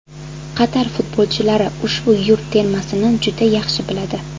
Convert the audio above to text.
Qatar futbolchilari ushbu yurt termasini juda yaxshi biladi.